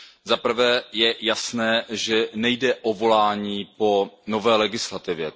Za prvé je jasné, že nejde o volání po nové legislativě.